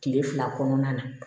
Kile fila kɔnɔna na